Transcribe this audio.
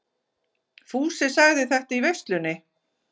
Fúsi sagði þetta í veislunni.